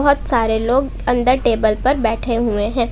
बहुत सारे लोग अंदर टेबल पर बैठे हुए हैं।